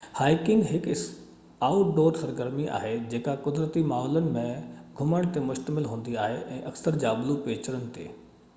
hiking هڪ outdoor سرگرمي آهي جيڪا قدرتي ماحولن ۾ گھمڻ تي مشتمل هوندي آهي اڪثر جابلو پيچرن تي